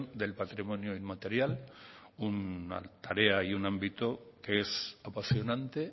del patrimonio inmaterial una tarea y un ámbito que es apasionante